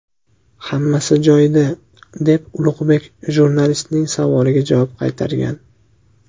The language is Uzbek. Hammasi joyida”, deb Ulug‘bek jurnalistning savoliga javob qaytargan.